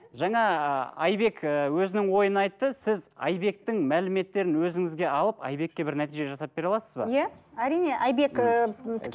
жаңа ы айбек ыыы өзінің ойын айтты сіз айбектің мәліметтерін өзіңізге алып айбекке бір нәтиже жасап бере аласыз ба иә әрине айбек ыыы